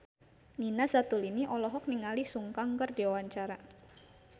Nina Zatulini olohok ningali Sun Kang keur diwawancara